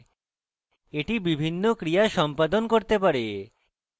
এটি বিভিন্ন ক্রিয়া সম্পাদন করতে পারে